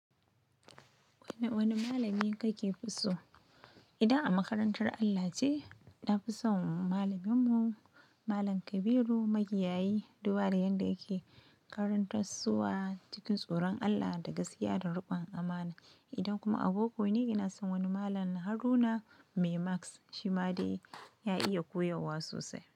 Wani, wani malamin ka ke fi so? Idan a makarantar Allo ce, na fi son malaminmu Malam Kabiru Magiyayi. Dubada yanda yake karantar wa cikin tsoron Allah da gaskiya da riƙon amana. Idan kuma a boko ne, ina son wani Malam Haruna Mai Maths Shi ma dai ya iya koyarwa sosai.